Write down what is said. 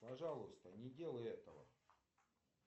пожалуйста не делай этого